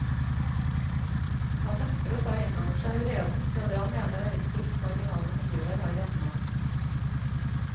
Han nekter å ta inn over seg vreden fra det han mener er ytterst marginale miljøer her hjemme.